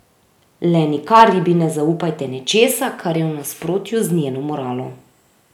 Le nikar ribi ne zaupajte nečesa, kar je v nasprotju z njeno moralo.